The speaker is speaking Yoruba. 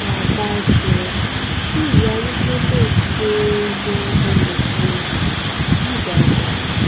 abájọ tí ìyà arúgbó náà ṣe mọ ọnà um yìí dáadáa